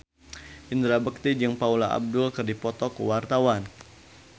Indra Bekti jeung Paula Abdul keur dipoto ku wartawan